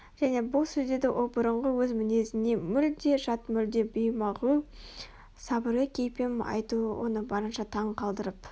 және бұл сөздерді ол бұрынғы өз мінезіне мүлде жат мүлде беймағлұм сабырлы кейіппен айтуы оны барынша таң қалдырып